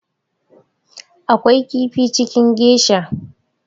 Akwai kifi cikin geisha